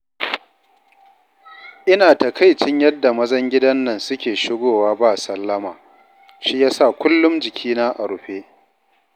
Ina takaicin yadda mazan gidan nan suke shigowa ba sallama, shiyasa kullum jikina a rufe yake